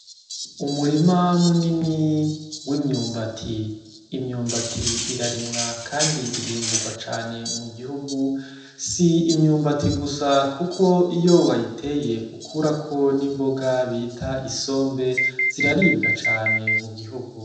Umurima munini w'imyumbati. Imyumbati irarimwa kandi irimburwa cane mu gihugu. Si imyumbati gusa kuko iyo wayiteye ukurako n'imboga bita isombe ziraribwa cane mu gihugu.